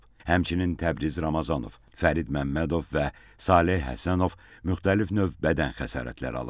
Həmçinin Təbriz Ramazanov, Fərid Məmmədov və Saleh Həsənov müxtəlif növ bədən xəsarətləri alıb.